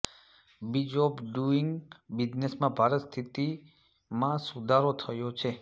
is of doing બિઝનેસમાં ભારત સ્થિતિમાં સુધારો થયો છે